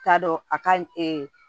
T'a dɔn a ka